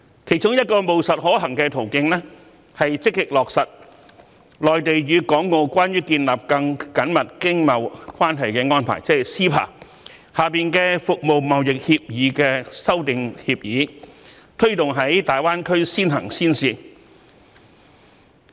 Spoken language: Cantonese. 其中一個務實可行的途徑，是積極落實《內地與香港關於建立更緊密經貿關係的安排》下《服務貿易協議》的修訂協議，推動於大灣區先行先試。